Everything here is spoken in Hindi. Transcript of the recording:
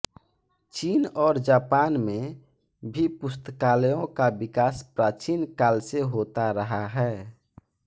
चीन और जापान में भी पुस्तकालयों का विकास प्राचीन काल से होता रहा है